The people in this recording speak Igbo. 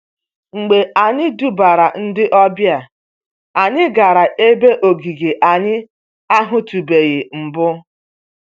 Mgbe anyị tụbara ndị ọbịa, anyị gara ebe okike anyị ahụtụbeghị mbụ.